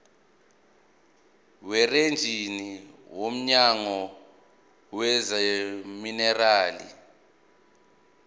werijini womnyango wezamaminerali